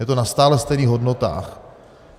Je to na stále stejných hodnotách.